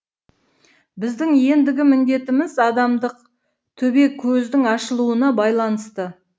біздің ендігі міндетіміз адамдық төбекөздің ашылуына байланысты